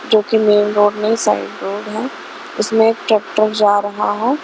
जो कि main road नहीं साइड रोड है इसमें एक ट्रैक्टर जा रहा है.